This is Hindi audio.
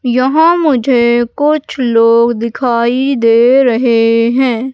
यहां मुझे कुछ लोग दिखाई दे रहे हैं।